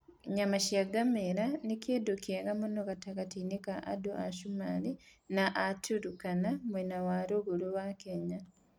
Nyama ya ngamĩĩra nĩ kĩndũ kĩega mũno gatagatĩ-inĩ ka andũ a Somalia na a Turkana mwena wa rũgongo wa Kenya.